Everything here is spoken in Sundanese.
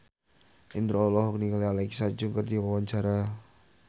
Indro olohok ningali Alexa Chung keur diwawancara